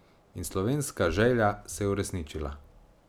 In slovenska želja se je uresničila.